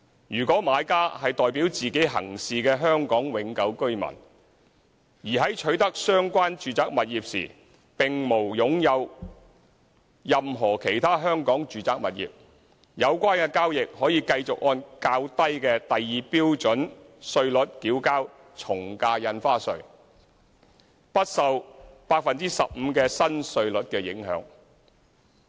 如果買家是代表自己行事的香港永久性居民，而在取得相關住宅物業時並無擁有任何其他香港住宅物業，有關交易則可繼續按較低的第2標準稅率繳交從價印花稅，不受 15% 新稅率的影響。